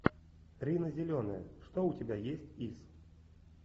рина зеленая что у тебя есть из